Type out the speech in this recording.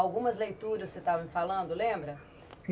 Algumas leituras que você estava me falando, lembra?